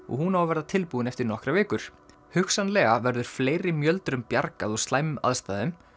og hún á að verða tilbúin eftir nokkrar vikur hugsanlega verður fleiri bjargað úr slæmum aðstæðum